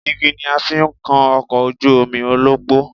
Igi ni a fi ń kan ọkọ̀ ojú omi ọlọ́pọ́